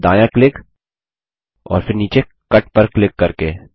और फिर दायाँ क्लिक और फिर नीचे कट पर क्लिक करके